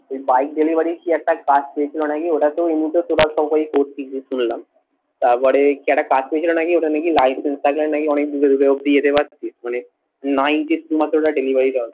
Bike delivery র কি একটা কাজ পেয়েছিলো নাকি শুনলাম। তার পরে কি একটা কাজ পেয়েছিলো নাকি ওটা নাকি licence থাকলে নাকি অনেক দূরে দূরে অবধি যেতে পারতি মানে নব্বই দিনেই delivery দেওয়ার কথা